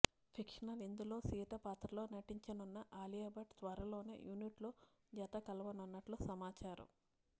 fictional ఇందులో సీత పాత్రలో నటించనున్న అలియా భట్ త్వరలోనే యూనిట్తో జత కలవనున్నట్లు సమాచారం